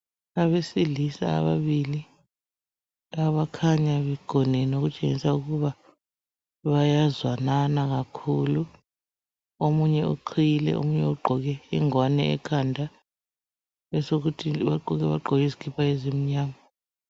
Abesilisa kanye abakhanya begonene okutshengisa ukuba bayazwanana kakhulu .Omunye uqhiyile omunye ugqoke ingwane ekhanda, besokuthi bonke bagqoke izikipa ezimnyama.